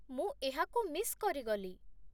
ମୁଁ ଏହାକୁ ମିସ୍ କରିଗଲି।